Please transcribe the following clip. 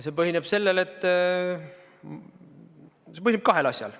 See põhineb kahel asjal.